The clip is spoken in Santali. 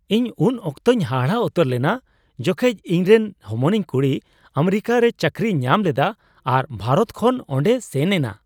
ᱤᱧ ᱩᱱ ᱚᱠᱛᱚᱧ ᱦᱟᱦᱟᱲᱟᱜ ᱩᱛᱟᱹᱨ ᱞᱮᱱᱟ ᱡᱚᱠᱷᱮᱡ ᱤᱧᱨᱮᱱ ᱦᱚᱢᱚᱱᱤᱧ ᱠᱩᱲᱤ ᱟᱢᱮᱨᱤᱠᱟᱨᱮ ᱪᱟᱹᱠᱨᱤᱭ ᱧᱟᱢ ᱞᱮᱫᱟ ᱟᱨ ᱵᱷᱟᱨᱚᱛ ᱠᱷᱚᱱ ᱚᱸᱰᱮᱭ ᱥᱮᱱ ᱮᱱᱟ ᱾